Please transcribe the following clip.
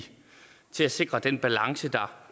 til at sikre den balance der